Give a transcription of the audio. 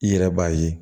I yɛrɛ b'a ye